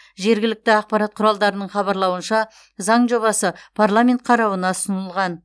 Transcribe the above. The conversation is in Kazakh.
жергілікті ақпарат құралдарының хабарлауынша заң жобасы парламент қарауына ұсынылған